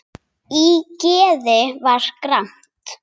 Í geði var gramt.